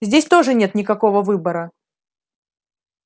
здесь тоже нет никакого выбора